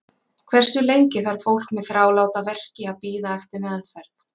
Hversu lengi þarf fólk með þráláta verki að bíða eftir meðferð?